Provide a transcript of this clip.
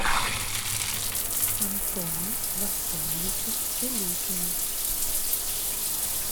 антону васильевичу селютину